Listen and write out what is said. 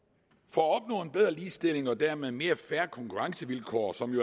for at opnå en bedre ligestilling og dermed mere fair konkurrencevilkår som jo